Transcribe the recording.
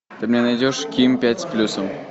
ты мне найдешь ким пять с плюсом